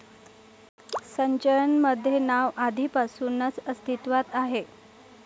संचयन मध्ये नाव आधिपासूनच अस्तीत्वात आहे